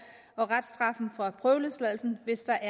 og reststraffen fra prøveløsladelsen hvis der